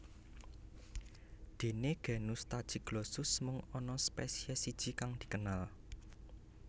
Déné genus Tachyglossus mung ana spesiès siji kang dikenal